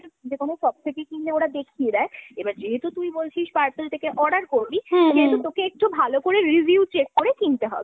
যেকোনো shop থেকে কিনলে ওরা দেখিয়ে দেয়। এবার যেহেতু তুই বলছিস Purple থেকে order করবি সেহেতু তোকে একটু ভালো করে review check করে কিনতে হবে।